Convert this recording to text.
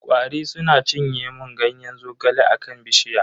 Kwari suna cinye mun Ganyen zogale a kan bishiya.